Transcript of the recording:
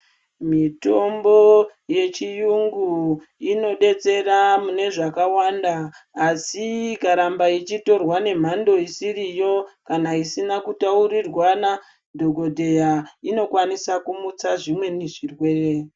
Mitombo yechiyungu inobetsera mune zvakawanda asi ikaramba ichitorwa nemhando isiriyo kana isina kutaurirwana nadhokodheya inokwanisa kumutsa zvimweni zvirwere.